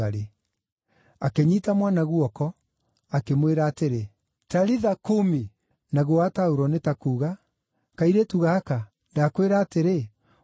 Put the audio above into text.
Akĩnyiita mwana guoko, akĩmwĩra atĩrĩ, “Talitha kumi!” (naguo wataũrwo nĩ ta kuuga, “Kairĩtu gaka, ndakwĩra atĩrĩ, ũkĩra!”)